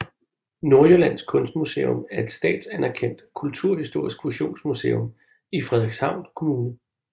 Nordjyllands Kystmuseum er et statsanerkendt kulturhistorisk fusionsmuseum i Frederikshavn Kommune